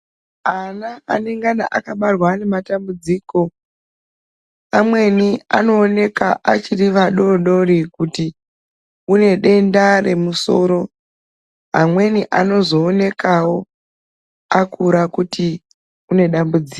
Ana anengana akabarwa ane matambudziko amweni anooneka achiri vadoodori kuti une denda remusoro amweni anozoonekawo akura kuti une dambudziko.